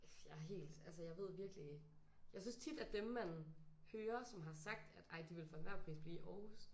Jeg helt altså jeg ved virkelig. Jeg synes tit at dem man hører som har sagt at ej de vil for enhver pris blive i Aarhus